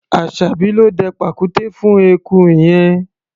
Aṣàbí ló dẹ pàkúté fún eku yẹn.